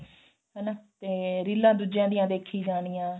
ਹਨਾ ਤੇ ਰੀਲਾ ਦੂਜਿਆ ਦੀਆਂ ਦੇਖੀ ਜਾਣੀਆਂ